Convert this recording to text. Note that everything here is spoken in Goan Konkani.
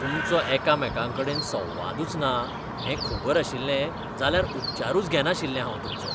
तुमचो एकामेकांकडेन संवादूच ना हें खबर आशिल्लें जाल्यार उपचारूच घेनाशिल्लें हांव तुमचो. पेशंट